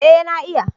Ee na iya.